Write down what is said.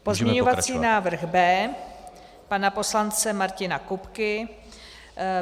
Pozměňovací návrh B pana poslance Martina Kupky.